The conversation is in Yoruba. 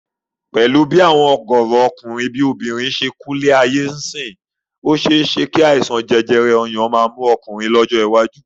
Pẹ̀lú àwọn ọ̀gọ̀ọ̀rọ̀ ọkùnrin bí obìnrin yìí ó ṣe é ṣé kí àìsàn jẹjẹrẹ ọyàn máa mú ọkùnrin lọ́jọ́ iwájú